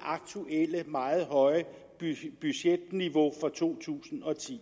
aktuelle meget høje budgetniveau for to tusind og ti